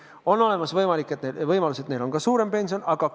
On olemas võimalus, et nad hakkavad saama hoopis suuremat pensionit.